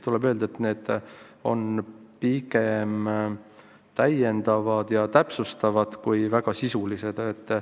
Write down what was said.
Tuleb öelda, et need on pigem täiendavad ja täpsustavad kui väga sisulised.